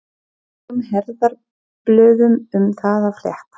Engum herðablöðum um það að fletta!